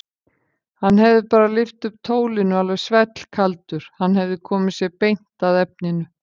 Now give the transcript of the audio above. Hann hefði bara lyft upp tólinu alveg svellkaldur, hann hefði komið sér beint að efninu.